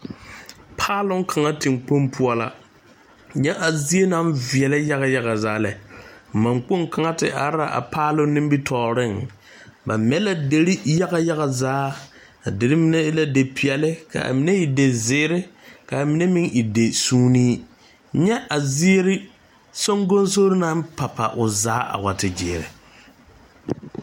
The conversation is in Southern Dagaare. Paaloŋ kaŋa tenkpoŋ poɔ la, nyɛ a zie naŋ veɛlɛ yaga yaga zaa lɛ, man kpoŋ kaŋa te are la a paaloŋ nimitɔreŋ ba mɛ la deri yaga yaga zaa a deri mine e la dipɛɛle ka a mine e dizeɛre ka a mine meŋ e disuunne, nyɛ a ziiri sonkonsori naŋ papa o zaa a wa te gyɛre.